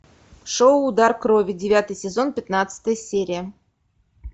шоу удар крови девятый сезон пятнадцатая серия